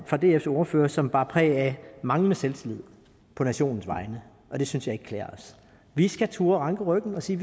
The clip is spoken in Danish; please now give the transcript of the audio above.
fra dfs ordfører som bar præg af manglende selvtillid på nationens vegne og det synes jeg ikke klæder os vi skal turde ranke ryggen og sige